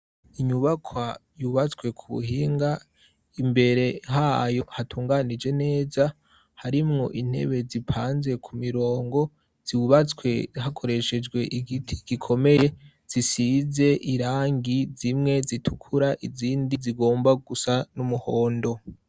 Inyubaka yubatswe ku buhinga imbere hayo hatunganije neza harimwo intebe zipanze ku mirongo ziwubatswe hakoreshejwe igiti gikomeye zisize irangi zimwe zitukura izindi zigomba gusa n'umuhondo.